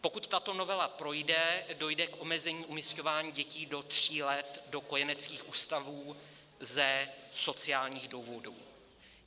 Pokud tato novela projde, dojde k omezení umisťování dětí do tří let do kojeneckých ústavů ze sociálních důvodů.